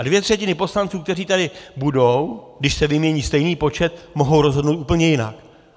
A dvě třetiny poslanců, kteří tady budou, když se vymění stejný počet, mohou rozhodnout úplně jinak.